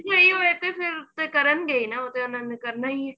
ਨਹੀਂ ਹੋਇਆ ਤੇ ਫੇਰ ਕਰਨਗੇ ਈ ਨਾ ਉਹ ਤੇ ਉਹਨਾ ਨੇ ਕਰਨਾ ਈ ਏ